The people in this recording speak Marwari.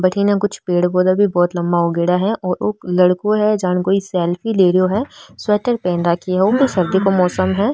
बठीने कुछ पेड़ पौधा भी बहोत लम्बा उगयोड़ा है और ओ लड़को है जाने कोई सेल्फी ले रियो है स्वेटर पहन राखी है सर्दी को मौसम है।